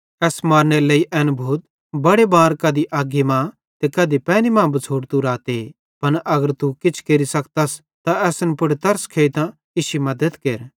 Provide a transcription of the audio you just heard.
एस मारनेरे लेइ एन भूत बड़े बार कधी अग्गी मां ते कधी पैनी मां बिछ़ोड़तू राते पन अगर तू किछ केरि सकतस त असन पुड़ तरस खेइतां इश्शी मद्दत केर